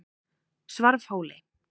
Svarfhóli